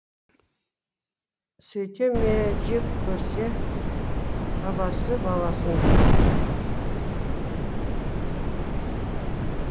сөйте ме жек көрсе бабасы баласын